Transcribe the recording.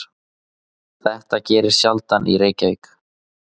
Þetta gerist sjaldan í Reykjavík.